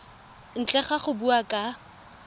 ntle ga go bua ka